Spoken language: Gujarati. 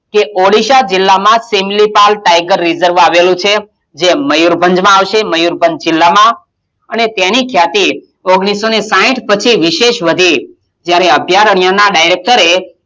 કે ઓડિશા જિલ્લામાં સિમલીપાલ tiger reserve આવેલું છે જે મયુરભંજમાં આવશે મયુરભંજ જિલ્લામાં અને તેની ખ્યાતિ ઓગણીસો ને સાહીઠ પછી વિશેષ વધી ત્યારે અભિયારણ્યનાં director એ,